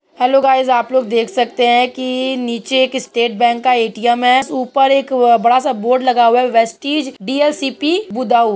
Hello guys आप लोग देख सकते है की नीचे एक स्टेट बैंक का ए.टी.एम. हैं ऊपर एक बड़ा सा बोर्ड लगा हुआ है। वेस्टीज डीएलसीपी बुडाऊं।